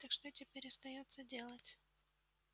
так что теперь остаётся делать